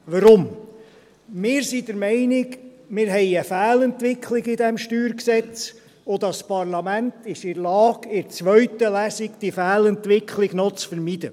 Warum? – Wir sind der Meinung, dass wir eine Fehlentwicklung in diesem StG haben und dass das Parlament in der Lage ist, diese Fehlentwicklung in der zweiten Lesung noch zu vermeiden.